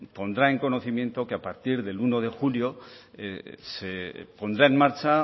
pondrá en conocimiento que a partir del uno de julio se pondrá en marcha